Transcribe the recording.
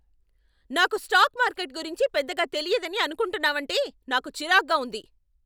నాకు stock market గురించి పెద్దగా తెలియదని అనుకుంటున్నావంటే నాకు చిరాగ్గా ఉంది.